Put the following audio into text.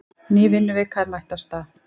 Ný vinnuvika er mætt af stað.